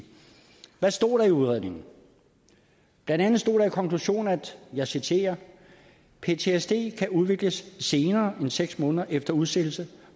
hvad stod der i udredningen blandt andet stod der i konklusionen og jeg citerer ptsd kan udvikles senere end seks måneder efter udsættelse